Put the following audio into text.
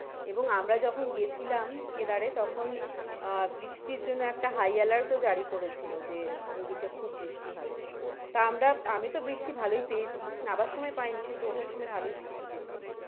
এবং আমরা যখন গেছিলাম কেদারে তখন আহ বৃষ্টির জন্য একটা high alert ও জারি করেছিলো যে ওইদিকে খুব বৃষ্টি হবে আমরা, আমি তো বৃষ্টি ভালোই পেয়েছি নাবার সময় পাইনি কিন্তু ওঠার সময় ভালোই বৃষ্টি পেয়েছি।